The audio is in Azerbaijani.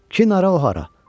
Ki, nədi o, hara?